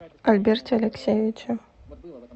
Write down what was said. альберте алексеевиче